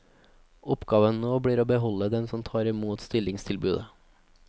Oppgaven nå blir å beholde dem som tar imot stillingstilbudet.